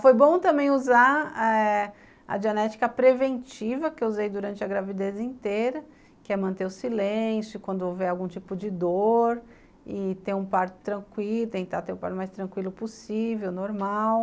Foi bom também usar a genética preventiva que eu usei durante a gravidez inteira, que é manter o silêncio quando houver algum tipo de dor e ter um parto tranquilo, tentar ter um parto mais tranquilo possível, normal.